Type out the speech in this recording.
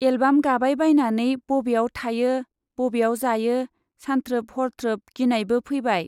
Album गाबाय बायनानै बब्याव थायो , बब्याव जायो सान्थ्रोब हरथ्रोब गिनायबो फैबाय।